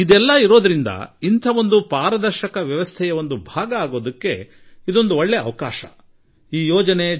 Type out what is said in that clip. ಆದುದರಿಂದ ನೀವು ಒಂದು ಪಾರದರ್ಶಕ ವ್ಯವಸ್ಥೆಯ ಭಾಗವಾಗಿಬಿಡಲು ನಿಮಗೊಂದು ಒಳ್ಳೆಯ ಅವಕಾಶ ಎಂದು ನಾನು ಹೇಳುತ್ತೇನೆ